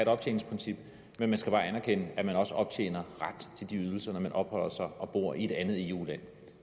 optjeningsprincip men man skal bare anerkende at man også optjener ret til de ydelser når man opholder sig og bor i et andet eu land